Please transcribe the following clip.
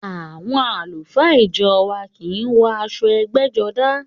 Àwọn àlùfáà ìjọ wa kì í wọ aṣọ ẹgbẹ́jọdá